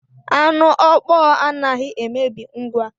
Anu ọkpọọ anaghị emebi ngwa.